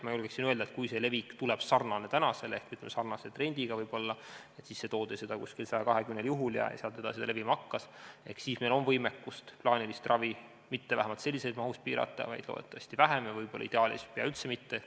Ma julgeksin öelda, et kui see levik tuleb sarnane tänasega ehk sarnase trendiga – sisse toodi seda umbes 120 juhul ja sealt edasi ta levima hakkas –, siis on meil võimekust plaanilist ravi vähemalt mitte sellises mahus piirata, vaid loodetavasti vähem ja ideaalis võib-olla üldse mitte.